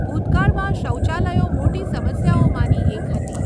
ભૂતકાળમાં શૌચાલયો મોટી સમસ્યાઓમાંની એક હતી.